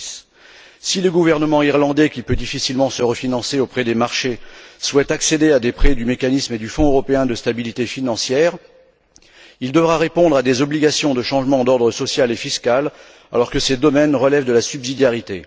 2010. Si le gouvernement irlandais, qui peut difficilement se refinancer auprès des marchés, souhaite accéder à des prêts du mécanisme et du fonds européen de stabilité financière, il devra répondre à des obligations de changement d'ordre social et fiscal alors que ces domaines relèvent de la subsidiarité.